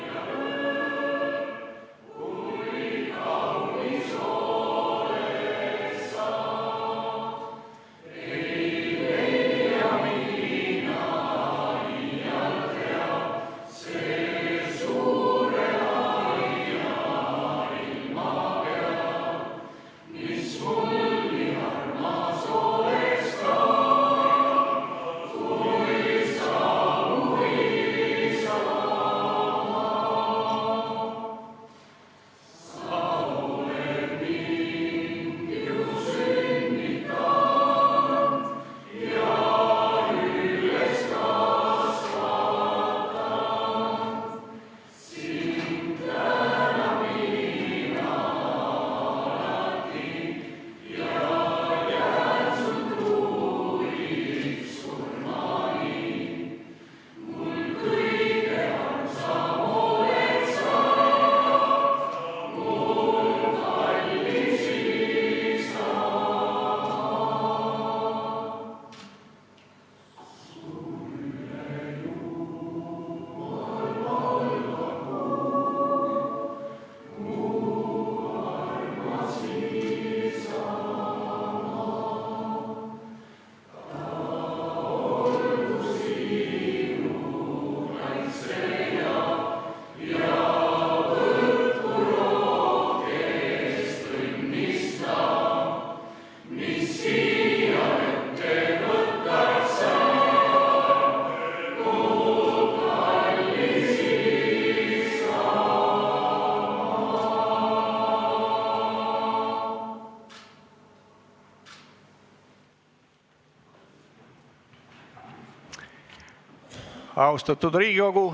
Austatud Riigikogu!